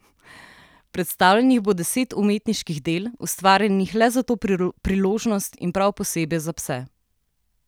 Predstavljenih bo deset umetniških del, ustvarjenih le za to priložnost in prav posebej za pse.